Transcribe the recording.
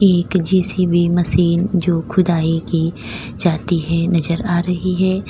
एक JCB machine जो खुदाई की जाती है नजर आ रही है।